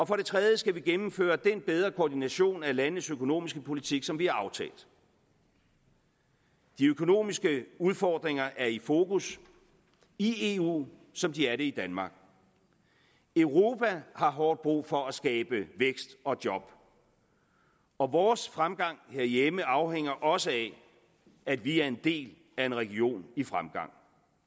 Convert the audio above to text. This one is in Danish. for det tredje skal vi gennemføre den bedre koordination af landenes økonomiske politik som vi har aftalt de økonomiske udfordringer er i fokus i eu som de er det i danmark europa har hårdt brug for at skabe vækst og job og vores fremgang herhjemme afhænger også af at vi er en del af en region i fremgang